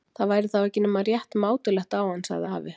Það væri þá ekki nema rétt mátulegt á hann. sagði afi.